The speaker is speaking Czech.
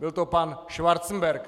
Byl to pan Schwarzenberg!